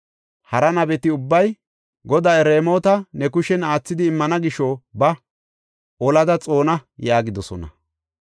Hara nabeti ubbay, “Goday Raamota ne kushen aathidi immana gisho ba; olada xoona” yaagidosona.